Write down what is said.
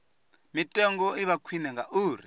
mitengo i vha khwine ngauri